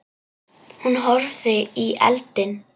Hún horfði í eldinn.